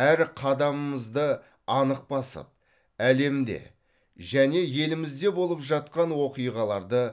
әр қадамымызды анық басып әлемде және елімізде болып жатқан оқиғаларды